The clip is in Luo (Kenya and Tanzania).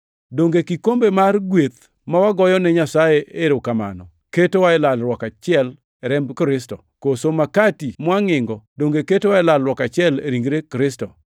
Donge kikombe mar gweth ma wagoyene Nyasaye erokamano ketowa e lalruok achiel e remb Kristo? Koso makati mwangʼingo donge ketowa e lalruok achiel, e ringre Kristo?